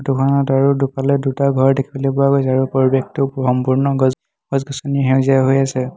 ফটোখনত আৰু দুফালে দুটা ঘৰ দেখিবলৈ পোৱা গৈছে আৰু পৰিৱেশটো সম্পূৰ্ণ গছ গছ গছনি সেউজীয়া হৈ আছে।